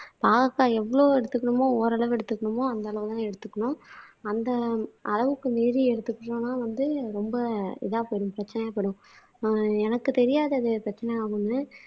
பாவக்காய் எவ்வளவு எடுத்துக்கணுமோ ஓரளவு எடுத்துக்கணுமோ அந்த அளவுதான் எடுத்துக்கணும். அந்த அளவுக்கு மீறி எடுத்துக்கிட்டோம்ன்னா வந்து ரொம்ப இதா போயிடும் பிரச்சனை ஏற்படும் ஆஹ் எனக்குத் தெரியாதது பிரச்சனை ஆகும்ன்னு